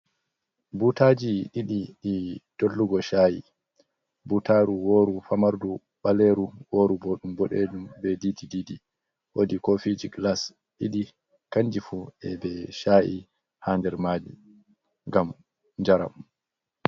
Butaji ɗiɗi di dollugo cha’i butaru woru famardu ɓaleru woru boɗɗum boɗejum be didi didi wodi kofiji glas ɗiɗi kanji fu e be sha’i ha nder maji ngam njaram.